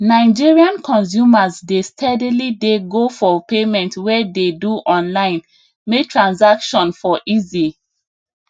nigerian consumers dey steadily dey go for payment wey dey do online may transaction for easy